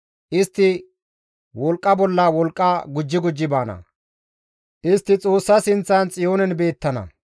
Istti wolqqa bolla wolqqa gujji gujji baana; Istti Xoossa sinththan Xiyoonen beettana.